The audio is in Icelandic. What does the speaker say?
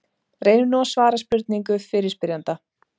Reynum nú að svara spurningu fyrirspyrjanda.